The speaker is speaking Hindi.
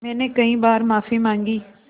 मैंने कई बार माफ़ी माँगी